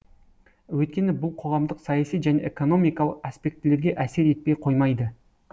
өйткені бұл қоғамдық саяси және экономикалық аспектілерге әсер етпей қоймайды